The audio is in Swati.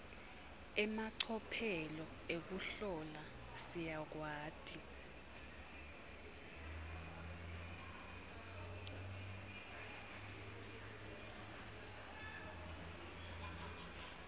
emacophelo ekuhlola siyakwati